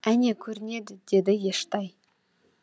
әне көрінеді деді ештай